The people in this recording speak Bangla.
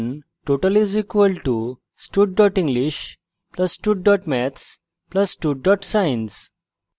যেমন total = stud english + stud maths + stud science;